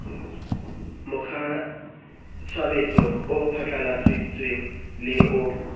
mokgwatshebetso o phatlalladitsweng le o